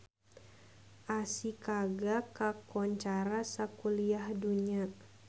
Ashikaga kakoncara sakuliah dunya